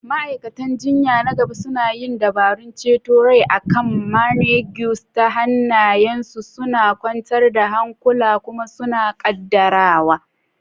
Ma'aikatan jinya na gaba suna yin dabarun ceton rai akan mannequins, hannayensu suna kwantar da hankula kuma sun ƙaddara.